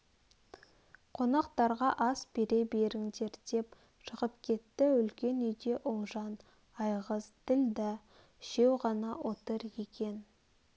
қонақтарға ас бере беріңдер деп шығып кетті үлкен үйде ұлжан айғыз ділдә үшеу ғана отыр екен